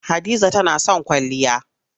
Hadiza tana son kwalliya.